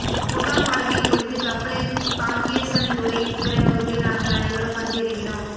முகாம் வாழ்க்கை முடிந்து கப்பலில் காங்கேசந்துறை துறைமுகத்தில் நாங்கள் அனைவரும் வந்து இறங்கினோம்